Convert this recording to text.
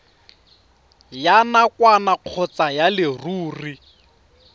ya nakwana kgotsa ya leruri